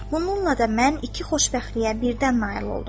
Bununla da mən iki xoşbəxtliyə birdən nail oldum.